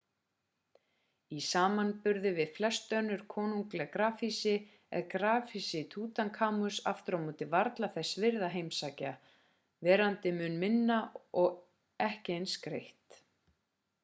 í samanburði við flest önnur konungleg grafhýsi er grafhýsi tútankamons aftur á móti varla þess virði að heimsækja verandi mun minna og ekki eins skreytt